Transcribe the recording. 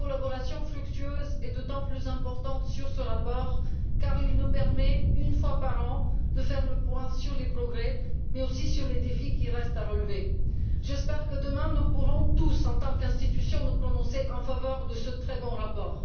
Une collaboration fructueuse est d'autant plus importante que ce rapport nous permet, une fois par an, de faire le point sur les progrès réalisés, mais aussi sur les défis qui restent à relever. J'espère que demain nous pourrons tous, en tant qu'institution, nous prononcer en faveur de ce très bon rapport.